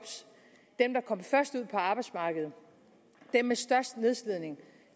dem der kom først ud på arbejdsmarkedet dem med størst nedslidning